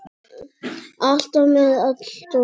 Alltaf með allt á hreinu.